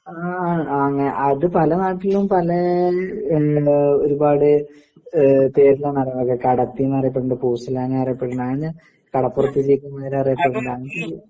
ആ അങ്ങേ അത് പല നാട്ടിലും പലേ എന്താ ഒരുപാട് എഹ് കടത്തിന്നറിയപ്പെടുന്നുണ്ട് അങ്ങനെ കടപ്പുറത്ത് ജീവിക്കുന്നവരെ അറിയപ്പെടുന്നുണ്ട് അങ്ങനൊരു